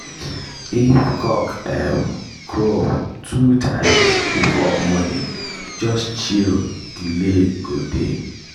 if cock um crow two times before morning just chill delay go dey.